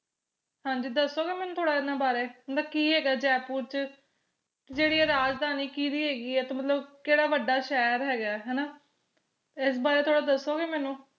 ਹਾਂਜੀ ਦੱਸੋਗੇ ਮੈਨੂੰ ਥੋੜਾ ਏਨਾ ਬਾਰੇ ਮਤਲਬ ਕਿ ਹੈਗਾ ਜੈਪੁਰ ਚ ਜਿਹੜੀ ਏ ਰਾਜਧਾਨੀ ਕੀਦੀ ਹੇਗੀ ਏ ਤੇ ਮਤਲਬ ਕਿਹੜਾ ਵੱਡਾ ਸ਼ਹਿਰ ਹੇਗਾ ਹਣਾ ਇਸ ਬਾਰੇ ਥੋੜਾ ਦਸੋਗੇ ਮੈਨੂੰ